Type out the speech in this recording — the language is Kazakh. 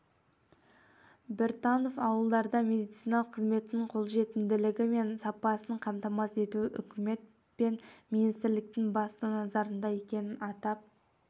біртанов ауылдарда медициналық қызметтің қолжетімділігі мен сапасын қамтамасыз ету үкімет пен министрліктің басты назарында екенін атап